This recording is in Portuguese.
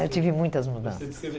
Eu tive muitas mudanças. Você descrever